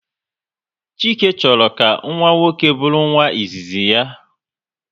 Chike chọrọ ka nwa nwoke bụrụ nwa izizi ya